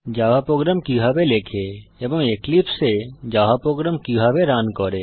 Java program কিভাবে লেখে এবং এক্লিপসে এ জাভা প্রোগ্রাম কিভাবে রান করে